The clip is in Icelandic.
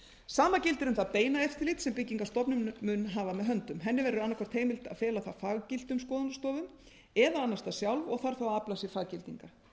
sama gildir um það beina eftirlit sem byggingarstofnun mun hafa með höndum henni verður annað hvort heimilt að fela það faggiltum skoðunarstofum eða annast það sjálf og þarf þá að afla sér faggildingar